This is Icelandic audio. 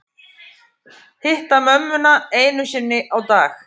Hitta mömmuna einu sinni á dag